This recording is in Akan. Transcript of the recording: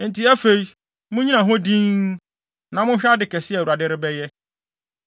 “Enti afei, munnyina hɔ dinn, na monhwɛ ade kɛse a Awurade rebɛyɛ.